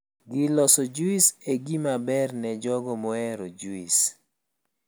Gir loso juis e gima ber ne jogo mohero juis